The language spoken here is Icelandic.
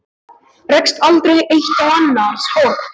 Rekst aldrei eitt á annars horn?